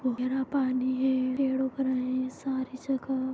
वगेरा पानी है पेड़ उघ रहे सारी जगह--